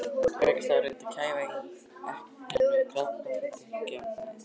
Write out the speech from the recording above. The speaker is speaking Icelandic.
Ég rauk af stað og reyndi að kæfa ekkann með kaffidrykkju, en ekkert dugði.